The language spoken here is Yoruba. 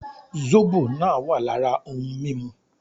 Zóbò náà wà lára ohun mímu